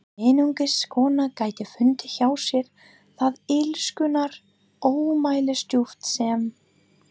Einungis kona gæti fundið hjá sér það illskunnar ómælisdjúp sem